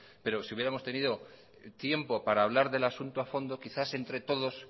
pero si hubiéramos tenido tiempo para hablar del asunto a fondo quizás entre todos